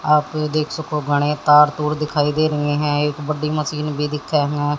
आप देख सको घनें तार तूर दिखाई दे रहे हैं एक बड़ी मशीन भी दिखे हैं।